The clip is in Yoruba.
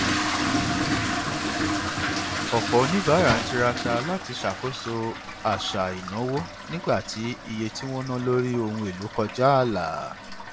ọpọ oníbàárà ń tiraka láti ṣàkóso àṣà ìnáwó nígbà tí iye tí wọn ná lórí ohun èlò kọjá ààlà